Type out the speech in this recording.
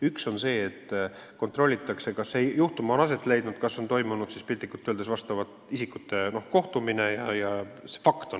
Ühesõnaga kontrollitakse, kas konkreetne juhtum on aset leidnud, kas on toimunud näiteks isikute kohtumine.